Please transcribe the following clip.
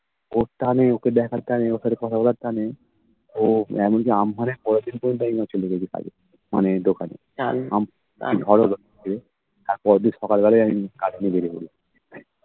ওর টানে ওকে দেখার টানে, ওখানে কথা বলার টানে ও এমনকি আম্ফানের পরের দিন পর্যন্ত আমি চলে গেছি কালকে মানে দোকানে আমফান ঝড় হলো কালকে তার পরের দিন সকালবেলায় আমি কাজে নেমে পড়ি